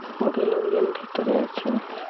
বোধ হয় লোকজন ভেতরে আছে ।